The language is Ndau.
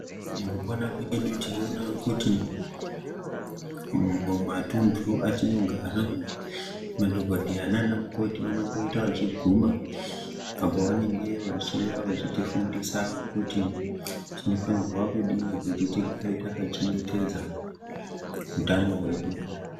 Mukupona kwedu tinoona kuti mu matundu atino gara madhokodheya nana mukoti vanombo ita vachi guma apo vanenge vachi uya vachiti fundisa kuti tino fanirwa kudini kuti tigare taka chengetedza utano hwedu.